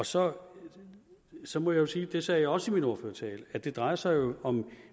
så så må jeg sige og det sagde jeg også i min ordførertale at det jo drejer sig om